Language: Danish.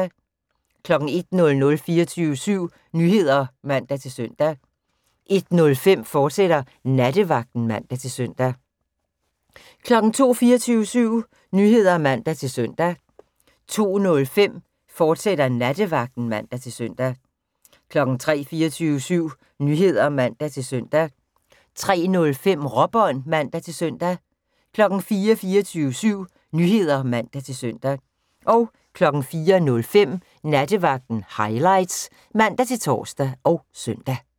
01:00: 24syv Nyheder (man-søn) 01:05: Nattevagten, fortsat (man-søn) 02:00: 24syv Nyheder (man-søn) 02:05: Nattevagten, fortsat (man-søn) 03:00: 24syv Nyheder (man-søn) 03:05: Råbånd (man-søn) 04:00: 24syv Nyheder (man-søn) 04:05: Nattevagten Highlights (man-tor og søn)